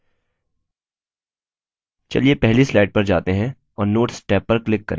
चलिए पहली slide पर जाते हैं और notes टैब पर click करें